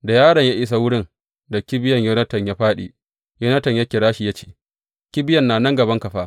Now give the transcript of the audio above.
Da yaron ya isa wurin da kibiyan Yonatan ya fāɗi, Yonatan ya kira shi ya ce, Kibiyan na gabanka fa.